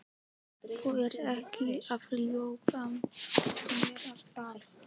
Þú ert ekki að ljúga að mér, er það?